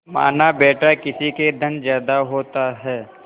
मानाबेटा किसी के धन ज्यादा होता है